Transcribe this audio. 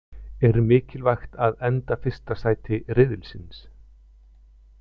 Er mikilvægt að enda fyrsta sæti riðilsins?